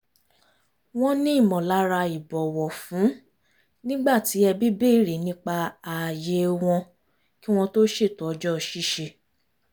wọ́n ní ìmọ̀lára ìbọ̀wọ̀-fún nígbà tí ẹbí bèrè nípa ààyè wọn kí wọ́n tó ṣètò ọjọ́ ṣíṣe